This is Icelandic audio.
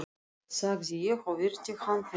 sagði ég og virti hann fyrir mér.